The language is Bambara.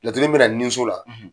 Laturuden be na ninso la